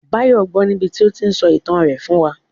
Báyọ̀ gbọ́ọ níbití ó tíí n sọ ìtàn rẹ̀ fún wa